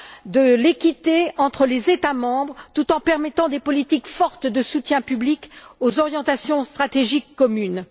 de l'équité entre les États membres, tout en permettant des politiques fortes de soutien public aux orientations stratégiques communes.